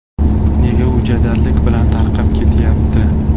Nega u jadallik bilan tarqab ketyapti?